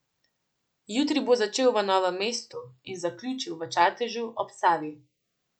Jutri bo začel v Novem mestu in zaključil v Čatežu ob Savi.